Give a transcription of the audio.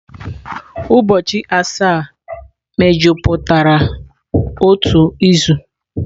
Ụbọchị asaa mejupụtara otu izu.